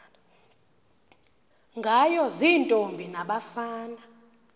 ngayo ziintombi nabafana